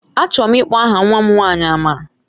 Achọrọ m ịkpọ aha nwa m nwanyị Amara.